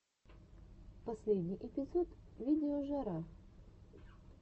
последний эпизод видеожара